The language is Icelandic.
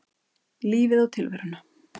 Lífið og tilveruna.